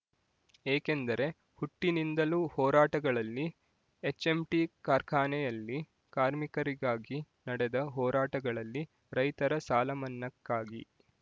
ಏಕೆಂದರೆ ಹುಟ್ಟಿನಿಂದಲೂ ಹೋರಾಟಗಳಲ್ಲಿ ಹೆಚ್ಎಂಟಿಕಾರ್ಖಾನೆಯಲ್ಲಿ ಕಾರ್ಮಿಕರಿಗಾಗಿ ನಡೆದ ಹೋರಾಟಗಳಲ್ಲಿ ರೈತರ ಸಾಲಮನ್ನಕ್ಕಾಗಿ